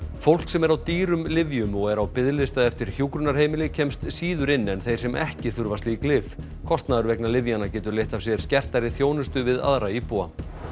fólk sem er á dýrum lyfjum og er á biðlista eftir hjúkrunarheimili kemst síður inn en þeir sem ekki þurfa slík lyf kostnaður vegna lyfjanna getur leitt af sér skertari þjónustu við aðra íbúa